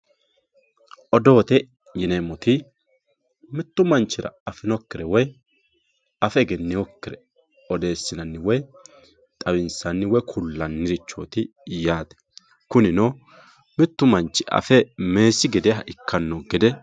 Odoote yineemmoti mitu manchira afinokkire woyi afe egeninokkire odeessinanni woyi xawinsanni woyi ku'lanniricho odoote yaate kunino mitu manchi afe meessi gedeha ikkano gede.